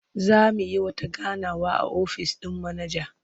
Za mu yi wata ganawa a ofis ɗin manaja.